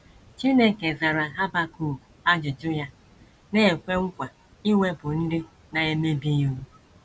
Chineke zara Habakuk ajụjụ ya, na - ekwe nkwa iwepụ “ ndị na - emebi iwu. ”